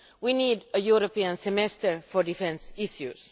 We need a European Semester for defence issues.